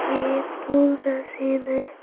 ये फूल का सीन है।